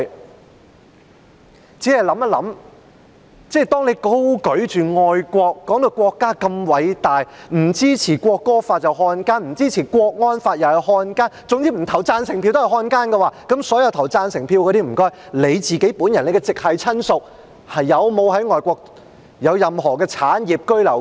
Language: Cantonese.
我只是想到，有人高舉愛國旗幟，把國家說得多偉大，說不支持《國歌條例草案》便是漢奸，不支持國安法又是漢奸，總之不投贊成票的人就是漢奸，那麼，所有投贊成票的人，他們本人及其直系親屬在外國是否擁有任何產業或居留權？